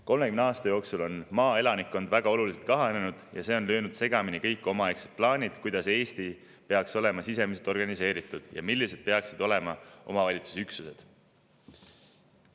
30 aasta jooksul on maaelanikkond väga oluliselt kahanenud ja see on löönud segamini kõik omaaegsed plaanid, kuidas Eesti peaks olema sisemiselt organiseeritud ja millised peaksid olema omavalitsusüksused.